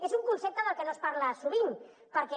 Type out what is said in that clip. és un concepte de què no es parla sovint perquè